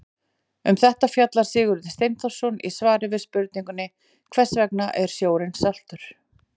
Um þetta fjallar Sigurður Steinþórsson í svari við spurningunni Hvers vegna er sjórinn saltur?